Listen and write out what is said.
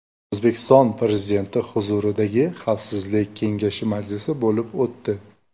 O‘zbekiston Prezidenti huzuridagi Xavfsizlik kengashi majlisi bo‘lib o‘tdi.